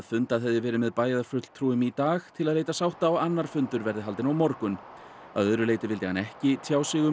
fundað hefði verið með bæjarfulltrúum í dag til að leita sátta og annar fundur verði haldinn á morgun að öðru leyti vildi hann ekki tjá sig um